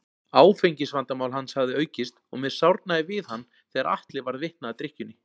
Áfengisvandamál hans hafði aukist og mér sárnaði við hann þegar Atli varð vitni að drykkjunni.